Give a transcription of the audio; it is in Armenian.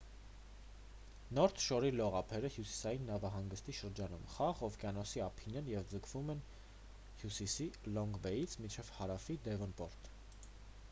նորթ շորի լողափները հյուսիսային նավահանգստի շրջանում խաղաղ օվկիանոսի ափին են և ձգվում են հյուսիսի լոնգ բեյից մինչև հարավի դեվոնպորտ: